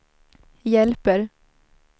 hjälper